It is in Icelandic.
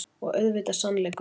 Og auðvitað sannleikurinn.